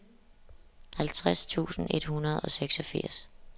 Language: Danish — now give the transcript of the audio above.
halvtreds tusind et hundrede og seksogfirs